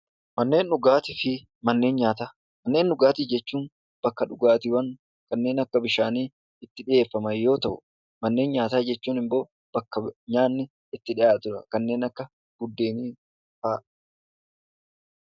Manneen dhugaatii jechuun wantoota dhugaatii kanneen akka bishaaniifaa itti dhihaatu yoo ta'u mana nyaataa jechuun immoo bakka nyaanni kanneen akka buddeenaafaa itti dhihaatu jechuudha.